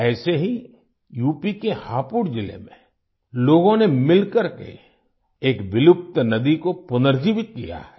ऐसे ही यूपी के हापुड़ जिले में लोगों ने मिलकर के एक विलुप्त नदी को पुनर्जीवित किया है